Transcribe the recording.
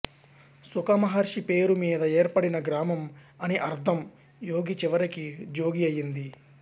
శుకమహర్షి పేరు మీద ఏర్పడిన గ్రామం అని అర్ధం యోగి చివరికి జోగి అయింది